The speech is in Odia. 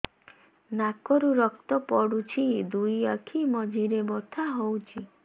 ନାକରୁ ରକ୍ତ ପଡୁଛି ଦୁଇ ଆଖି ମଝିରେ ବଥା ହଉଚି